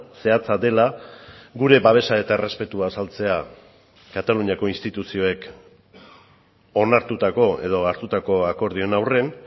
zehatza dela gure babesa eta errespetua azaltzea kataluniako instituzioek onartutako edo hartutako akordioen aurrean